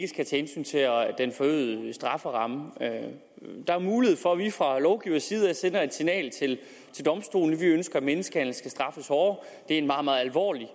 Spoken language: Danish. tage hensyn til den forøgede strafferamme der er mulighed for at vi fra lovgivers side sender et signal til domstolene vi ønsker at menneskehandel skal straffes hårdere det er en meget meget alvorlig